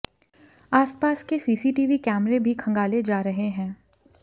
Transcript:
आसपास के सीसीटीवी कैमरे भी खंगाले जा रहे हैं